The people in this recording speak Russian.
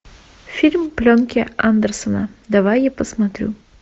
фильм пленки андерсона давай я посмотрю